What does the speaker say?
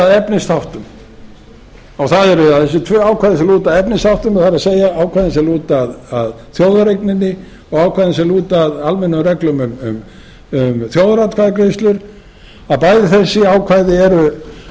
efnisþáttum og það eru þessi tvö ákvæði sem lúta að efnisþáttum það er ákvæðum sem lúta að þjóðareigninni og ákvæðum sem lúta að almennum reglum um þjóðaratkvæðagreiðslur að bæði þessi ákvæði